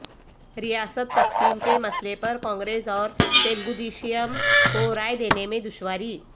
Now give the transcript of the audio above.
ریاست تقسیم کے مسئلے پر کانگریس اور تلگودیشم کو رائے دینے میں دشواری